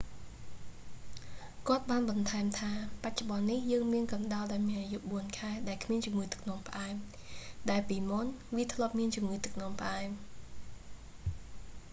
"គាត់​បាន​បន្ថែម​ថា បច្ចុប្បន្ន​នេះ យើង​មាន​កណ្ដុរ​ដែល​មាន​អាយុ 4 ខែ ដែល​គ្មាន​ជំងឺ​ទឹក​នោ​ម​ផ្អែម ដែល​ពីមុន​វា​ធ្លាប់​មាន​ជំងឺ​ទឹកនោមផ្អែម។